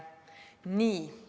Nii.